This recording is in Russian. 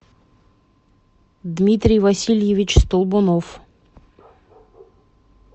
дмитрий васильевич столбунов